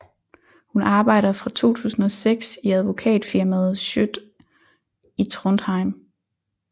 Hun arbejder fra 2006 i advokatfirmaet Schjødt i Trondheim